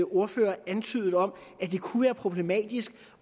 ordfører antydede om at det kunne være problematisk